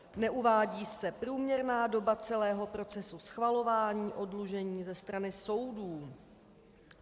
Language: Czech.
Neuvádí se průměrná doba celého procesu schvalování oddlužení ze strany soudů.